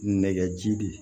Nɛgɛji de